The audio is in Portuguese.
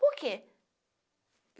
Por quê?